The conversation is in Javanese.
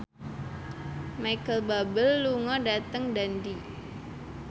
Micheal Bubble lunga dhateng Dundee